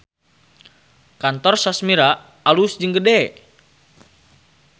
Kantor Sashmira alus jeung gede